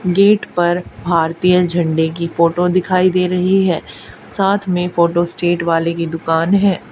Gate पर भारतीय झंडे की फोटो दिखाई दे रही है साथ में फोटोस्टेट वाले की दुकान है।